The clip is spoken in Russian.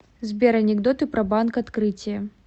сбер анекдоты про банк открытие